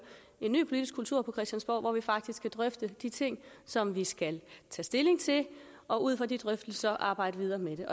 en ny politisk kultur på christiansborg hvor vi faktisk kan drøfte de ting som vi skal tage stilling til og ud fra de drøftelser arbejde videre med